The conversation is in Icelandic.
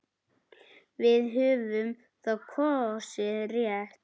Við höfum þá kosið rétt.